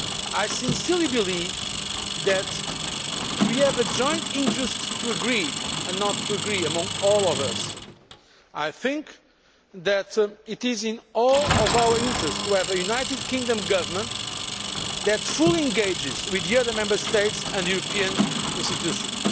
I sincerely believe that we have a joint interest to agree, and to agree among all of us. I think that it is in all of our interests to have a United Kingdom Government that fully engages with the other Member States and the European institutions.